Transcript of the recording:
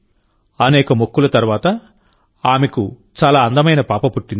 అనేక మొక్కుల తర్వాతఆమెకు చాలా అందమైన పాప పుట్టింది